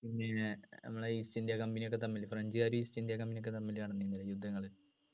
നമ്മളെ east India company ഒക്കെ തമ്മില് french കാര് east ഇന്ത്യ company ഒക്കെ തമ്മില് നടന്നില്ലേ യുദ്ധങ്ങള്